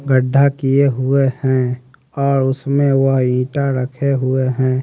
गढ़ा किए हुए हैं और उसमें वह ईटा रखे हुए हैं।